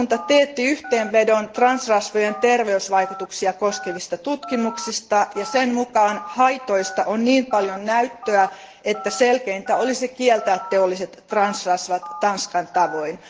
Valiokunta teetti yhteenvedon transrasvojen terveysvaikutuksia koskevista tutkimuksista ja sen mukaan haitoista on niin paljon näyttöä, että selkeintä olisi kieltää teolliset transrasvat Tanskan tavoin.